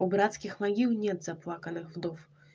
у братских могил нет заплаканных вдов